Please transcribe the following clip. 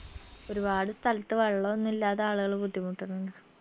ഒരുപാട് സ്ഥലത്ത് വെള്ളൊന്നു ഇല്ലാതെ ആളുകൾ ബുദ്ധിമുട്ടണിണ്ട്